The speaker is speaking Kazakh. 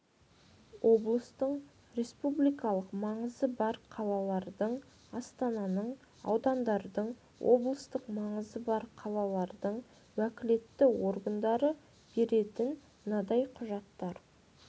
облыстардың республикалық маңызы бар қалалардың астананың аудандардың облыстық маңызы бар қалалардың уәкілетті органдары беретін мынадай құжаттар